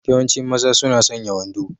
Yawancin mazan suna sanya wando.